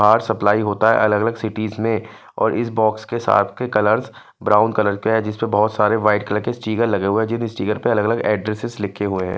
बहर सप्लायर होता है अलग अलग सिटी में और इस बॉक्स के साथ के कलर ब्राउन कलर का है जिसपे बहोत सारे वाइट कलर के स्टीकर लगे हुए है जिन स्टीकर पे अलग अलग एड्रेसेस लिखे हुए है।